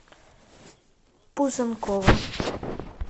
пузанкова